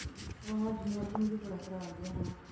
ਹਾਂ ਅੱਜ ਮੌਸਮ ਵੀ ਬੜਾ ਖ਼ਰਾਬ ਜਿਹਾ ਹੈ ਹੇਨਾ।